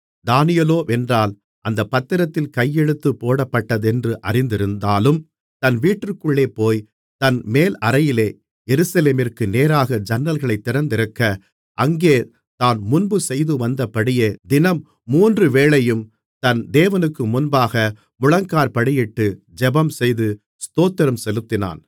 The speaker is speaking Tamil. தானியேலோவென்றால் அந்தப் பத்திரத்தில் கையெழுத்து போடப்பட்டதென்று அறிந்திருந்தாலும் தன் வீட்டிற்குள்ளேபோய் தன் மேலறையிலே எருசலேமிற்கு நேராக ஜன்னல்கள் திறந்திருக்க அங்கே தான் முன்பு செய்துவந்தபடியே தினம் மூன்று வேளையும் தன் தேவனுக்கு முன்பாக முழங்காற்படியிட்டு ஜெபம்செய்து ஸ்தோத்திரம் செலுத்தினான்